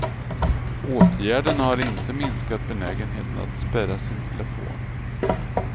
Åtgärderna har inte minskat benägenheten att spärra sin telefon.